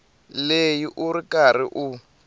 leyi u ri karhi u